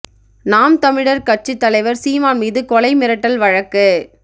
நாம் தமிழர் கட்சித் தலைவர் சீமான் மீது கொலை மிரட்டல் வழக்கு